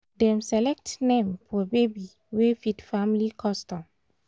dem select name for baby wey fit family custom